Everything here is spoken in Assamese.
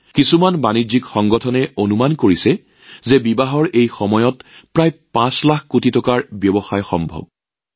একাংশ বাণিজ্যিক সংস্থাই অনুমান কৰিছে যে এই বিয়াৰ বতৰত প্ৰায় ৫ লাখ কোটি টকাৰ ব্যৱসায় হোৱাৰ সম্ভাৱনা আছে